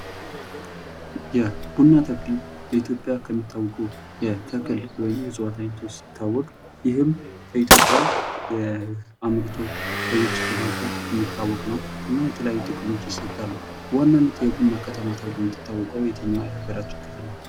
ይህ ቡና ተክል በኢትዮጵያ ከሚታወቁ የተክል ወይም የእፅዋት አይነቶች ሲታወቅ ይህም በኢትዮጵያ አምርቶ ለውጭ በማቅረብ የሚታወቅ ነው። ይህም የተለያዩ ጥቅሞች ይሰጣል። በዋናነት የቡና ከተማ ተብሎ የሚታወቅ የትኛው የሃገራችን ክልል ነው?